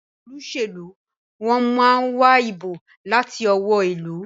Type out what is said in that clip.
Àwọn Olóṣèlú món wá ìbò láti ọwọ́ ilú.